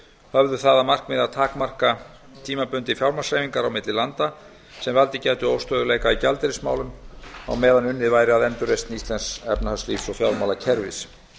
höfðu það að markmiði að takmarka tímabundið fjármagnshreyfingar á milli landa sem valdið gæti óstöðugleika í gjaldeyrismálum á meðan unnið verði að endurreisn íslensks efnahagslífs og fjármálakerfis